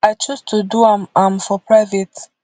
i choose to do am am for private